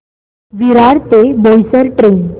विरार ते बोईसर ट्रेन